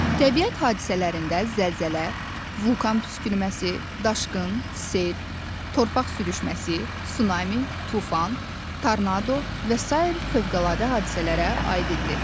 Təbiət hadisələrindən zəlzələ, vulkan püskürməsi, daşqın, sel, torpaq sürüşməsi, tsunami, tufan, tornado və sair fövqəladə hadisələrə aid edilir.